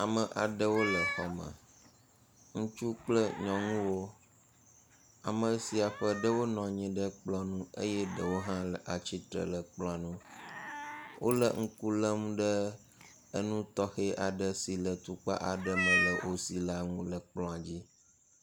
Ame aɖewo le xɔme, ŋutsu kple nyɔnuwo, ame sia ƒe ɖewo nɔ anyi ɖe kplɔ ŋu eye ɖewo hã le atsitre ɖe kplɔa ŋu. Wole ŋku lém ɖe nu tɔxe aɖe si le atukpa aɖe me le wo si la ŋu le kplɔa dzi.